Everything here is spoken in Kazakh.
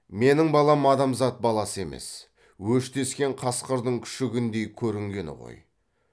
менің балам адамзат баласы емес өштескен қасқырдың күшігіндей көрінгені ғой